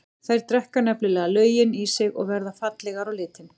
Þær drekka nefnilega löginn í sig og verða fallegar á litinn.